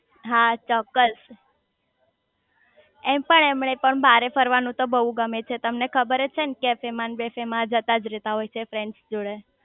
હા ચોક્કસ એમ પણ એમને પણ બાર ફરવાનું તો બહુ ગમે છે તમને ખબરજ છે ને કૅફે માં ને બેફે માં જતાજ રેતા હોય છે ફ્રેન્ડ્સ જોડે